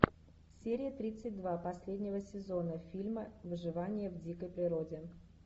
серия тридцать два последнего сезона фильма выживание в дикой природе